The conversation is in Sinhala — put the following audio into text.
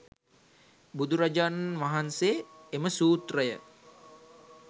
බුදුරජාණන් වහන්සේ එම සූත්‍රය